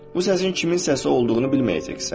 Bu səsin kimin səsi olduğunu bilməyəcəksən.